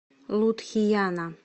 лудхияна